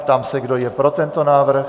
Ptám se, kdo je pro tento návrh.